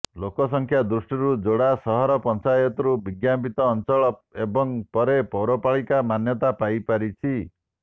ଲୋକ ସଂଖ୍ୟା ଦୃଷ୍ଟିରୁ ଯୋଡା ସହର ପଞ୍ଚାୟତରୁ ବିଜ୍ଞାପିତ ଅଞ୍ଚଳ ଏବଂ ପରେ ପୌରପାଳିକାର ମାନ୍ୟତା ପାଇପାରିଛି